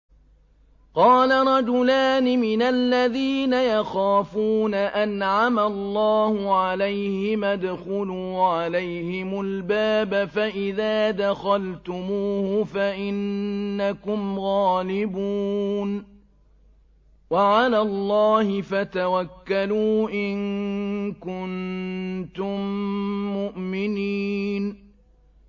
قَالَ رَجُلَانِ مِنَ الَّذِينَ يَخَافُونَ أَنْعَمَ اللَّهُ عَلَيْهِمَا ادْخُلُوا عَلَيْهِمُ الْبَابَ فَإِذَا دَخَلْتُمُوهُ فَإِنَّكُمْ غَالِبُونَ ۚ وَعَلَى اللَّهِ فَتَوَكَّلُوا إِن كُنتُم مُّؤْمِنِينَ